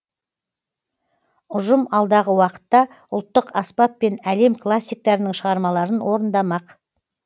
ұжым алдағы уақытта ұлттық аспаппен әлем классиктарының шығармаларын орындамақ